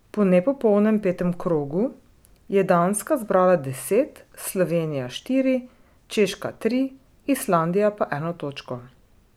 Po nepopolnem petem krogu je Danska zbrala deset, Slovenija štiri, Češka tri, Islandija pa eno točko.